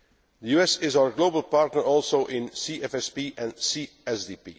The US is our global partner also in CFSP and